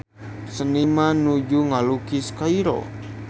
Seniman nuju ngalukis Kairo